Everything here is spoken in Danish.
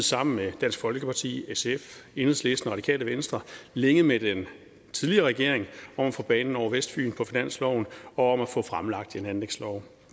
sammen med dansk folkeparti sf enhedslisten og radikale venstre længe med den tidligere regering om at få banen over vestfyn på finansloven og om at få fremlagt en anlægslov